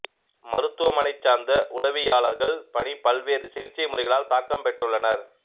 மருத்துவ மனை சார்ந்த உளவியலாளர்கள் பணி பல்வேறு சிகிச்சை முறைகளால் தாக்கம் பெற்றுள்ளனர்